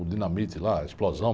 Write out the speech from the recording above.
O dinamite lá, a explosão.